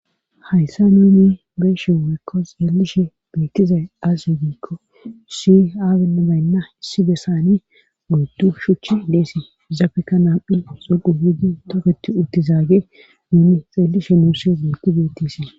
Hayssa nuuni be7ishe woykko xeelishe beettizay aaze giikko issi aazinne baynna issi bessanni oyddu shuchchi dees izapekka nam7i zuqullidi toketti uttizagey nuuni xeelishin beettishe dees.